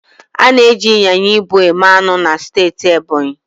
A na-eji ịnyịnya ibu eme anụ na steeti Ebonyi